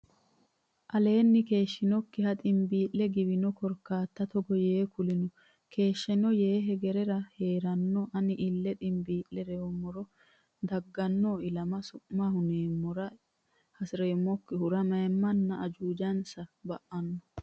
aleenni keeshshannokkiha ximbii la giwino korkaata togo yee kulino keeshshanno yee hegerera hee ranno Ani ille ximbii lummoro dagganno ilama su ma ya hu nammora hasi reemmokkihura mayimmanna ajuujansa ba anno !